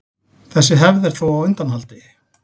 Þessi hefð er þó á undanhaldi.